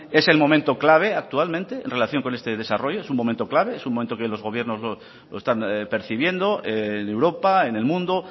es el momento clave actualmente en relación con este desarrollo es un momento clave es un momento que los gobiernos lo están percibiendo en europa en el mundo